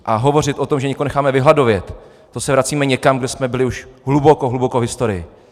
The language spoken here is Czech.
A hovořit o tom, že někoho necháme vyhladovět, to se vracíme někam, kde jsme byli už hluboko, hluboko v historii.